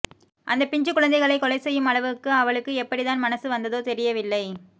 அந்தப் பிஞ்சுக் குழந்தைகளைக் கொலை செய்யும் அளவுக்கு அவளுக்கு எப்படித்தான் மனசு வந்ததோ தெரியவில்லை